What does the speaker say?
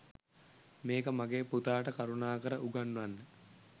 මේක මගේ පුතාට කරුණාකර උගන්වන්න.